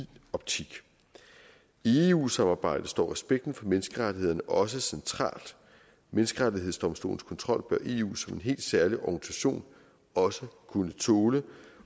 optik i eu samarbejdet står respekten for menneskerettighederne også centralt menneskerettighedsdomstolens kontrol bør eu som en helt særlig organisation også kunne tåle